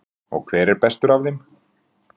Þórhildur: Og hver er bestur af þeim?